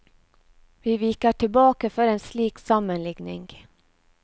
Vi viker tilbake for en slik sammenligning.